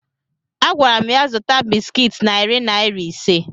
Agwara m ya zụta bịsịkịt narị naira ise